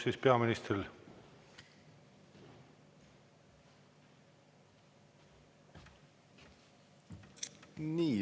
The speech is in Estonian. Palun, peaminister!